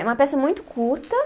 É uma peça muito curta